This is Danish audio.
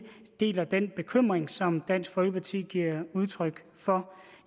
deler den bekymring som dansk folkeparti giver udtryk for